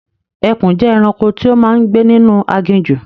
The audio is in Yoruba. Ẹkùn jẹ́ ẹranko tí ó máa ń gbé ninu aginjù